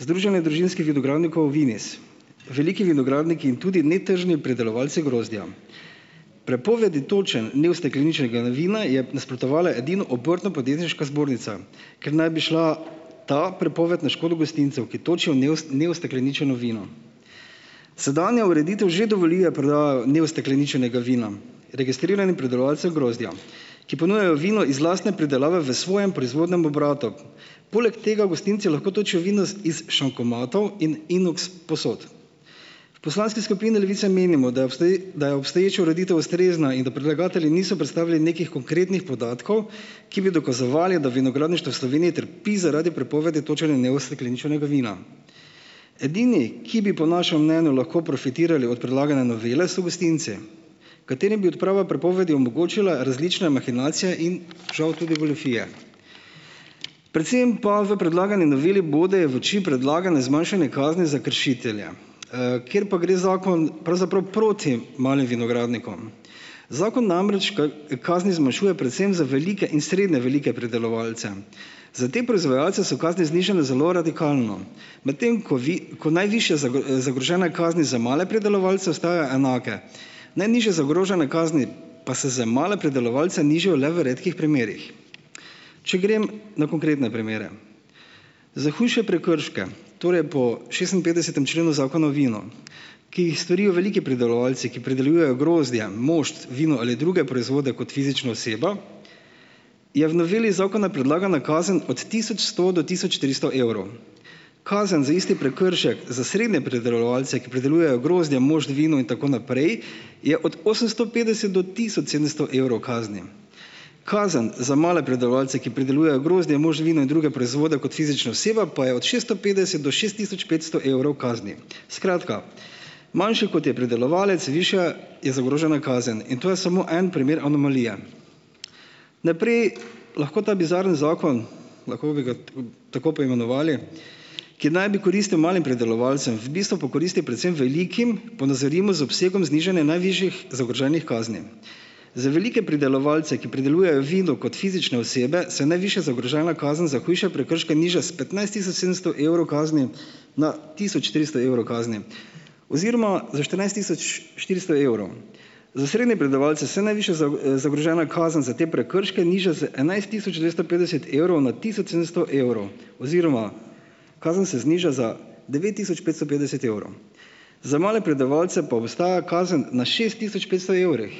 Združenje družinskih vinogradnikov Vines, veliki vinogradniki in tudi netržni predelovalci grozdja. Prepovedi točenj neustekleničenega vina je nasprotovala edino Obrtno-podjetniška zbornica, ker naj bi šla ta prepoved na škodo gostincev, ki točijo neustekleničeno vino. Sedanja ureditev že dovoli, da prodajajo neustekleničenega vina registriranih pridelovalcev grozdja, ki ponujajo vino iz lastne pridelave v svojem proizvodnem obratu. Poleg tega gostinci lahko točijo vino s iz "šankomatov" in "inoks" posod. V poslanski skupini Levice menimo, da je da je obstoječa ureditev ustrezna in da predlagatelji niso predstavili nekih konkretnih podatkov, ki bi dokazovali, da vinogradništvo v Sloveniji trpi zaradi prepovedi točenja neustekleničenega vina. Edini, ki bi po našem mnenju lahko profitirali od predlagane novele, so gostinci, katerim bi odprava prepovedi omogočila različne "mahinacije" in žal tudi goljufije. Predvsem pa v predlagani noveli bode v oči predlagano zmanjšanje kazni za kršitelja, kjer pa gre zakon pravzaprav proti malim vinogradnikom. Zakon namreč kazni zmanjšuje predvsem za velike in srednje velike pridelovalce. Za te proizvajalce so kazni znižane zelo radikalno, medtem ko ko najvišje zagrožene kazni za male pridelovalce ostajajo enake. Najnižje zagrožene kazni pa se za male pridelovalce nižajo le v redkih primerih. Če grem na konkretne primere. Za hujše prekrške, torej po šestinpetdesetem členu Zakona o vinu, ki jih storijo veliki pridelovalci, ki pridelujejo grozdje, mošt, vino ali druge proizvode kot fizična oseba, je v noveli zakona predlagana kazen od tisoč sto do tisoč tristo evrov. Kazen za isti prekršek za srednje pridelovalce, ki pridelujejo grozdje, mošt, vino in tako naprej, je od osemsto petdeset do tisoč sedemsto evrov kazni. Kazen za male pridelovalce, ki pridelujejo grozdje, mošt, vino in druge proizvode kot fizična oseba, pa je od šesto petdeset do šest tisoč petsto evrov kazni. Skratka, manjši, kot je pridelovalec, višja je zagrožena kazen in to je samo en primer anomalije. Naprej, lahko ta bizarni zakon, lahko bi ga t, tako poimenovali, ki naj bi koristil malim pridelovalcem, v bistvu pa koristi predvsem velikim, ponazorimo z obsegom znižanja najvišjih zagroženih kazni. Za velike pridelovalce, ki pridelujejo vino kot fizične osebe, se najvišja zagrožena kazen za hujše prekrške niža s petnajst tisoč sedemsto evrov kazni na tisoč tristo evrov kazni oziroma za štirinajst tisoč štiristo evrov. Za srednje pridelovalce se najvišja zagrožena kazen za te prekrške niža z enajst tisoč dvesto petdeset evrov na tisoč sedemsto evrov oziroma kazen se zniža za devet tisoč petsto petdeset evrov. Za male predelovalce pa ostaja kazen na šest tisoč petsto evrih